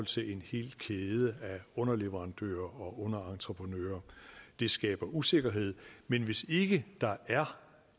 til en hel kæde af underleverandører og underentreprenører det skaber usikkerhed men hvis ikke der er